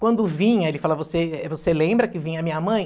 Quando vinha, ele fala, você você lembra que vinha a minha mãe?